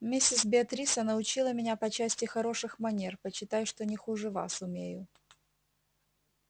миссис беатриса научила меня по части хороших манер почитай что не хуже вас умею